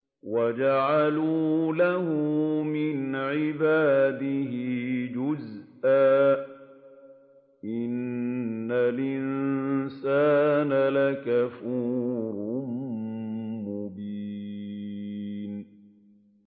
وَجَعَلُوا لَهُ مِنْ عِبَادِهِ جُزْءًا ۚ إِنَّ الْإِنسَانَ لَكَفُورٌ مُّبِينٌ